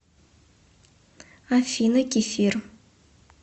афина кефир